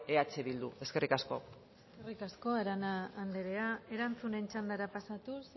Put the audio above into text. eh bildu eskerrik asko eskerrik asko arana anderea erantzunen txandara pasatuz